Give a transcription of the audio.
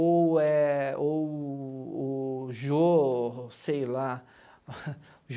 Ou é... Ou... O Jô... Sei lá.